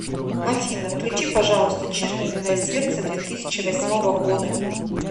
афина включи пожалуйста чернильное сердце две тысячи восьмого года